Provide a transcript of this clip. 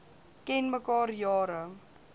ken mekaar jare